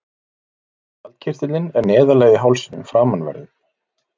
Skjaldkirtillinn er neðarlega í hálsinum framanverðum.